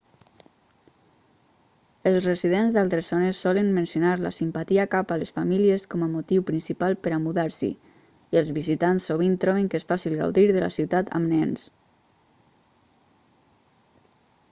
els residents d'altres zones solen mencionar la simpatia cap a les famílies com a motiu principal per a mudar-s'hi i els visitants sovint troben que és fàcil gaudir de la ciutat amb nens